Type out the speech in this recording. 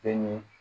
E ni